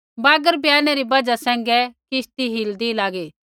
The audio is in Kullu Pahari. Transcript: बागर बियाने री बजहा सैंघै किश्ती हिलदी लागी